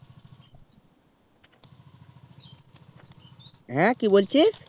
হ্যাঁ কি বলছিস